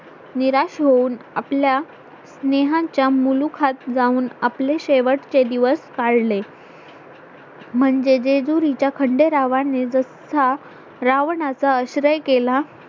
निराश होऊन आपल्या स्नेहाच्या मुलुखात जाऊन आपले शेवटचे दिवस काढले म्हणजे जेजुरीच्या खंडेरावाने जसा रावणाचा आश्रय केला